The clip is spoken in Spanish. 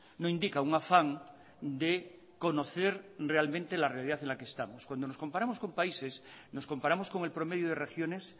no indica un afán de conocer realmente la realidad en la que estamos cuando nos comparamos con países nos comparamos con el promedio de regiones